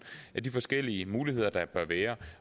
af de forskellige muligheder der bør være